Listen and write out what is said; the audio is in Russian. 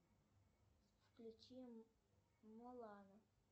включи мулан